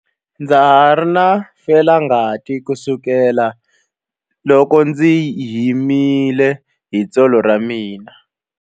Ndza ha ri na felangati kusukela loko ndzi himile hi tsolo ra mina.